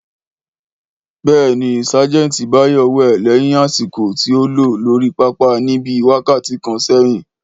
Béèni, sagenti Báyọ́ wẹ léyìn àsìkò tí a lò lórí pápá níbí wákàtí kan sẹ́yìn